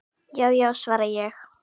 Já já, svara ég.